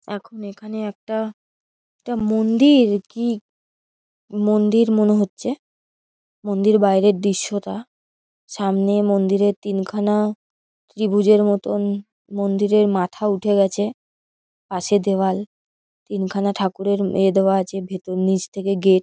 এখন এখানে একটা এটা মন্দির কি মন্দির মনে হচ্ছে মন্দির বাইরের দৃশ্য টা সামনে মন্দিরের তিনখানা ত্রিভুজের মতোন মন্দিরের মাথা উঠে গেছে পাশে দেওয়াল তিনখানা ঠাকুরের এ দেওয়া আছে ভেতর নিচ থেকে গেট ।